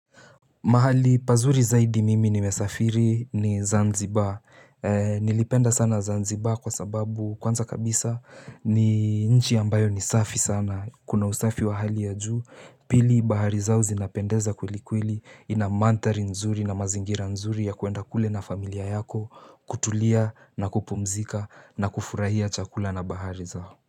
Mahali pazuri zaidi mimi nimesafiri ni Zanzibar. Nilipenda sana Zanzibar kwa sababu kwanza kabisa ni nchi ambayo ni safi sana Kuna usafi wa hali ya juu Pili bahari zao zinapendeza kweli kweli ina mandhari nzuri na mazingira nzuri ya kwenda kule na familia yako kutulia na kupumzika na kufurahia chakula na bahari zao.